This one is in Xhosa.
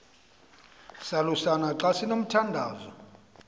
salusana xa sinomthandazo